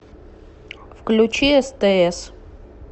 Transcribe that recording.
включи стс